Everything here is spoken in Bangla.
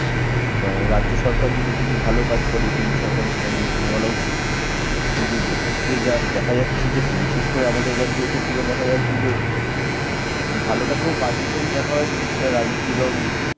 আহ রাজ্য সরকার যদি কিছু ভালো কাজ করে কেন্দ্রীয় সরকারের সেটা নিয়ম ভালো বলা উচিত কিন্তু এক্ষেত্রে যা দেখা যাচ্ছে যে বিশেষ করে আমাদের আমাদের রাজ্যের ক্ষেত্রে দেখা যাচ্ছে যে ভালোটাকেও বাজে হিসেবে দেখা হয় যদি সেটা রাজনীতির রং